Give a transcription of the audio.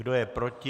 Kdo je proti?